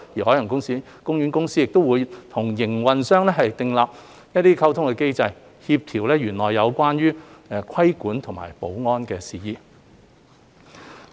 海洋公園公司亦會與營運商訂立溝通機制，協調園內有關規管和保安的事宜。